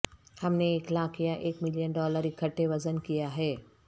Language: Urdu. ہم نے ایک لاکھ یا ایک ملین ڈالر اکٹھے وزن کیا ہے